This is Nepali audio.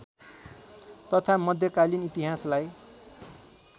तथा मध्यकालीन इतिहासलाई